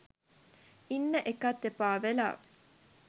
ඉන්න එකත් එපාවෙලා